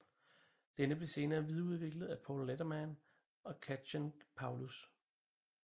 Denne blev senere videreudviklet af Paul Letterman og Kathchen Paulus